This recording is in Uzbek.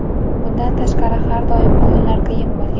Bundan tashqari, har doim o‘yinlar qiyin bo‘lgan.